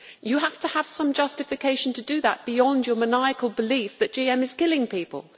You have to have some justification to do that, beyond your maniacal belief that GM is killing people.